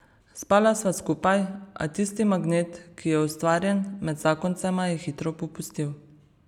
Spala sva skupaj, a tisti magnet, ki je ustvarjen med zakoncema, je hitro popustil.